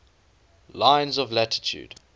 lines of latitude